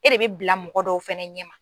E de bɛ bila mɔgɔ dɔw fɛnɛ ɲɛ ma.